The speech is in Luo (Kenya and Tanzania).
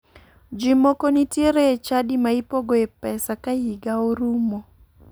Ji moko nitiere e chadi ma ipogoe pesa ka higa orumo